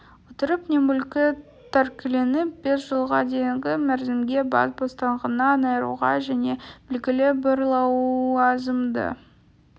отырып не мүлкі тәркіленіп бес жылға дейінгі мерзімге бас бостандығынан айыруға және белгілі бір лауазымды